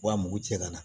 Wa mugu cɛ kana